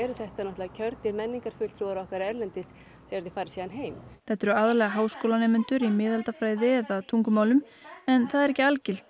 þetta kjörnir menningarfulltrúar okkar erlendis þegar þeir fara heim þetta eru aðallega háskólanemendur í miðaldafræði eða tungumálum en það er ekki algilt